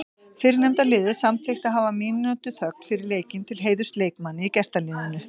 Fyrrnefnda liðið samþykkti að hafa mínútu þögn fyrir leikinn til heiðurs leikmanni í gestaliðinu.